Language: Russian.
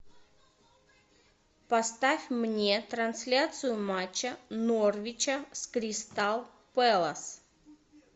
поставь мне трансляцию матча норвича с кристал пэлас